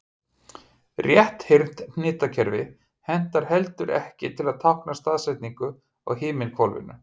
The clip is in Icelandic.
Rétthyrnt hnitakerfi hentar heldur ekki til að tákna staðsetningu á himinhvolfinu.